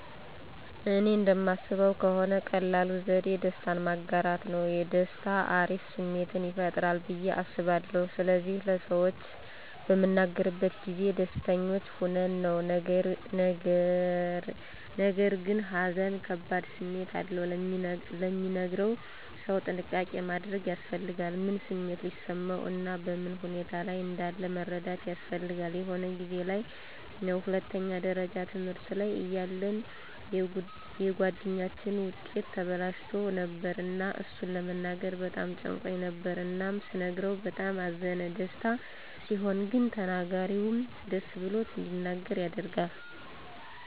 እኔ እንደማስበው ከሆነ ቀላሉ ዘዴ ደስታን ማጋራት ነው። ደስታ አሪፍ ስሜትን ይፈጥራል ብዬ አስባለሁ ስለዚህ ለሰዎች በምንናገርበት ጊዜ ደስተኞች ሆነን ነው። ነገርግን ሃዘን ከባድ ስሜት አለው፤ ለሚነገረው ሰው ጥንቃቄ ማድረግ ያስፈልጋል። ምን ስሜት ሊሰማው እና በምን ሁኔታ ላይ እንዳለ መረዳት ያስፈልጋል። የሆነ ጊዜ ላይ ነው ሁለተኛ ደረጃ ትምህርት ላይ እያለን የጉአደኛችን ዉጤት ተበላሽቶ ነበር እና እሱን ለመናገር በጣም ጨንቆኝ ነበር እናም ስነግረው በጣም አዘነ። ደስታ ሲሆን ግን ተናጋሪውም ደስ ብሎት እንዲናገር ያደርጋል።